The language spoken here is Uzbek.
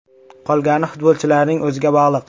Qolgani futbolchilarning o‘ziga bog‘liq.